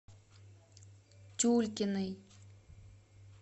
тюлькиной